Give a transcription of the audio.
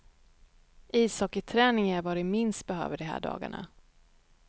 Ishockeyträning är vad de minst behöver de här dagarna.